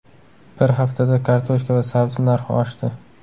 Bir haftada kartoshka va sabzi narxi oshdi.